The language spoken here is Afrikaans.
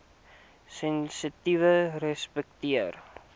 sensitiefrespekteer